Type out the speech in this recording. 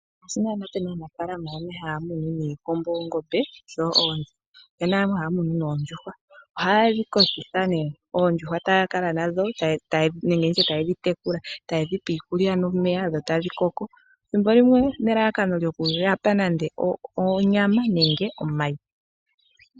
Ngaashi naanaa pe na aanafalama haya muno niikombo, oongombe noonzi opu na wo yamwe haya munu noondjuhwa. Ohaye dhi kokitha nduno, taya kala nadho taye dhi tekulula, taye dhi pe iikulya nomeya dho tadhi koko. Ethimbo limwe onelalakano lyokuya pa onyama nenge omayi.